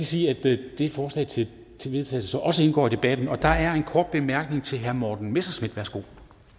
sige at det forslag til til vedtagelse også indgår i debatten der er en kort bemærkning til herre morten messerschmidt værsgo